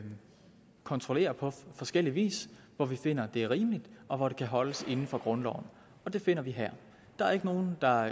kontrollere på forskellig vis hvor vi finder det rimeligt og hvor det kan holdes inden for grundloven og det finder vi her der er ikke nogen der